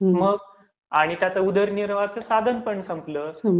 मग आणि त्याचं उदरनिर्वाहाचं साधन पण संपलं.